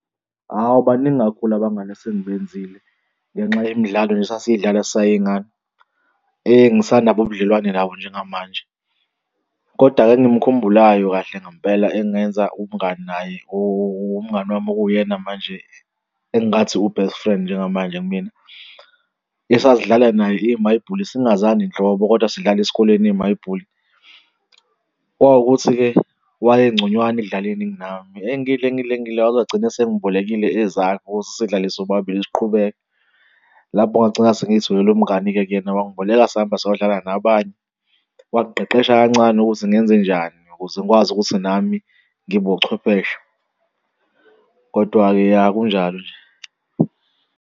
Hhawu, baningi kakhulu abangani esengibenzile ngenxa yemidlalo nje esasiyidlala sisayiy'ngane engisanabo ubudlelwane nabo njengamanje. Kodwa-ke engimkhumbulayo kahle ngempela engenza umngani naye ubungani wami okuwuyena manje engathi u-best friend njengamanje kumina. Esasidlala naye imayibhuli singazani nhlobo, kodwa sidlala esikoleni imayibhuli. Kwawukuthi-ke wayengconywana ekudlaleni kunami engidla, engidla, engidla waze wagcina sengibokile ezakhe ukuze sidlale sobabili siqhubeke, lapho ngangigcina sengiy'tholele umngani-ke kuyena, wangiboleka sahamba sayodlala nabanye wangiqeqesha kancane ukuthi ngenzenjani ukuze ngikwazi ukuthi nami ngibe uchwepheshe. Kodwa-ke ya kunjalo nje.